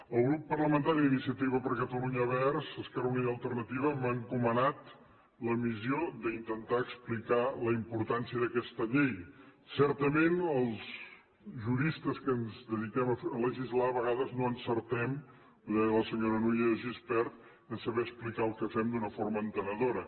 el grup parlamentari d’iniciativa per catalunya verds esquerra unida i alternativa m’ha encomanat la missió d’intentar explicar la importància d’aquesta llei certament els juristes que ens dediquem a legislar a vegades no encertem ho deia la senyora núria de gispert a saber explicar el que fem d’una forma entenedora